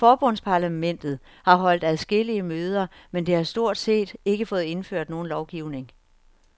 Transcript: Forbundsparlamentet har holdt adskillige møder, men det har stort ikke fået indført nogen lovgivning.